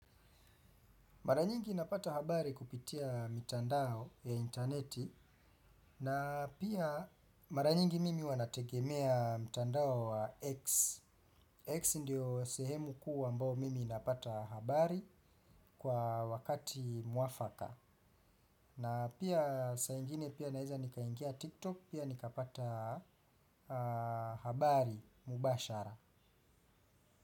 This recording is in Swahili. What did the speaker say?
Mara nyingi napata habari kupitia mitandao ya interneti na pia mara nyingi mimi huwa nategemea mtandao wa X. X ndio sehemu kuu ambao mimi napata habari kwa wakati mwafaka. Na pia saa ingine pia naeza nikaingia TikTok pia nikapata habari mubashara.